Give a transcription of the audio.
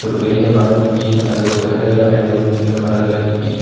பெரிய மர நிக்கி அதுக்கு பக்கத்துல எல்லா ரெண்டு மூணு சின்ன மரோ எல்லா நிக்கி.